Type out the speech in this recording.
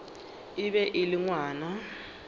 e be e le ngwana